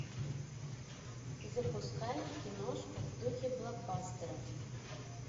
запускай киношку в духе блокбастера